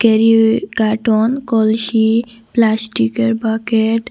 carton কলসি প্লাস্টিকের bucket --